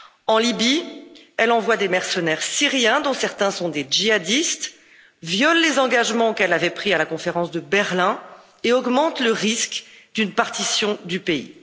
En Libye, elle envoie des mercenaires syriens, dont certains sont des djihadistes, elle viole les engagements qu'elle avait pris à la conférence de Berlin et augmente le risque d'une partition du pays.